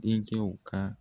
Denkɛw ka